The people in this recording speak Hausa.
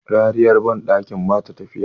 rariyar bandakin ba ta tafiya